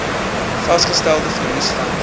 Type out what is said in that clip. vasgestelde verlies vanaf